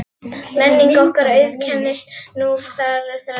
Menning okkar auðkennist nú þegar af margbreytileika á mörgum sviðum.